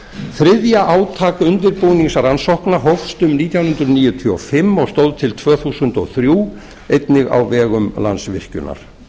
þriðja átak undirbúningsrannsókna hófst um nítján hundruð níutíu og fimm og stóð til tvö þúsund og þrjú einnig á vegum landsvirkjunar